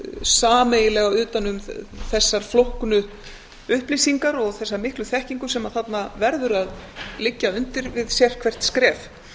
sameiginlega utan um þessar flóknu upplýsingar og þessa miklu þekkingu sem þarna verður að liggja undir við sérhvert skref